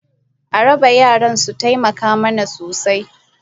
A bara, yaran sun taimaka mana sosai.